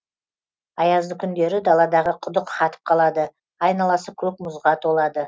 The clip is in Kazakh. аязды күндері даладағы құдық қатып қалады айналасы көк мұзға толады